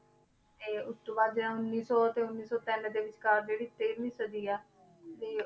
ਤੇ ਉਸ ਤੋਂ ਬਾਅਦ ਜਿਹੜਾ ਉੱਨੀ ਸੌ ਤੇ ਉੱਨੀ ਸੌ ਤਿੰਨ ਦੇ ਵਿਚਕਾਰ ਜਿਹੜੀ ਤੇਰਵੀਂ ਸਦੀ ਹੈ ਦੇ